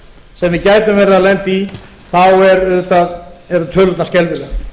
sem við gætum verið að lenda í eru tölurnar skelfilegar